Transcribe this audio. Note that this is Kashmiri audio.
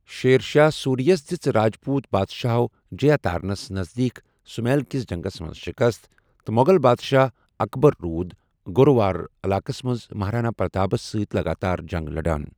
شیرشاہ سورییَس دِژ راجپوت بادشاہٕو جییہ تارنس نَزدیٖک سمیل کِس جَنٛگَس مَنٛز شِکَست ، تہٕ مو٘غل بادشاہ اَکبَر روٗد گوروار علاقَس مَنٛز مَہارانا پرٛتاپَس سۭتۍ لَگاتار جَنٛگ لَڑان ۔